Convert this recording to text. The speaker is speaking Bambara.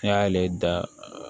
N'i y'ale da